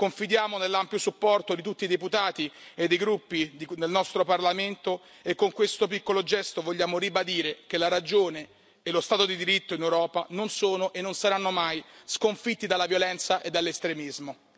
Confidiamo nell'ampio supporto di tutti i deputati e dei gruppi nel nostro Parlamento e con questo piccolo gesto vogliamo ribadire che la ragione e lo Stato di diritto in Europa non sono e non saranno mai sconfitti dalla violenza e dall'estremismo.